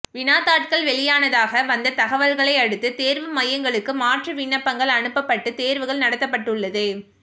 வினாத்தாள்கள் வெளியானதாக வந்த தகவல்களை அடுத்து தேர்வு மையங்களுக்கு மாற்று விண்ணப்பங்கள் அனுப்பப்பட்டு தேர்வுகள் நடத்தப்பட்டுள்ளது